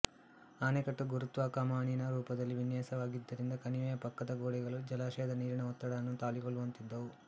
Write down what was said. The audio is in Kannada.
ಅಣೆಕಟ್ಟು ಗುರುತ್ವ ಕಮಾನಿನ ರೂಪದಲ್ಲಿ ವಿನ್ಯಾಸವಾಗಿದ್ದರಿಂದ ಕಣಿವೆಯ ಪಕ್ಕದ ಗೋಡೆಗಳು ಜಲಾಶಯದ ನೀರಿನ ಒತ್ತಡವನ್ನು ತಾಳಿಕೊಳ್ಳುವಂತಿದ್ದವು